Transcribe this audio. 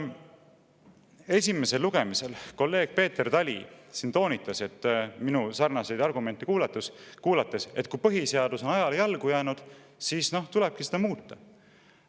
Esimesel lugemisel kolleeg Peeter Tali siin toonitas minu sarnaseid argumente kuulates, et kui põhiseadus on ajale jalgu jäänud, siis tulebki seda muuta.